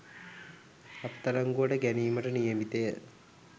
අත්අඩංගුවට ගැනීමට නියමිතය